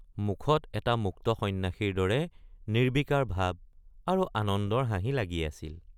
মুখত এটা মুক্ত সন্যাসীৰ দৰে নিৰ্ব্বিকাৰ ভাব আৰু আনন্দৰ হাঁহি লাগি আছিল।